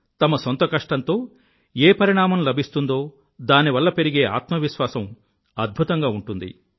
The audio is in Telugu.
తమ సొంత కష్టంతో ఏ పరిణామం లభిస్తుందో దానివల్ల పెరిగే ఆత్మవిశ్వాసం అద్భుతంగా ఉంటుంది